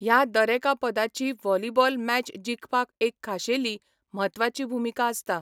ह्या दरेका पदाची व्हॉलीबॉल मॅच जिखपाक एक खाशेली, म्हत्वाची भुमिका आसता.